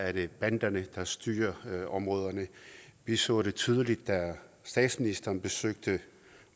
er det banderne der styrer områderne vi så det tydeligt da statsministeren besøgte